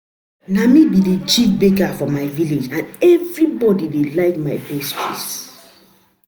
Na me be the Chief baker for my village and everybody dey like my pastries